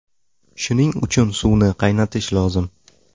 Shuning uchun suvni qaynatish lozim.